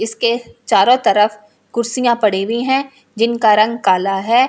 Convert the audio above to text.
इसके चारो तरफ कुर्सियां पड़ी हुई है जिनका रंग काला है इन।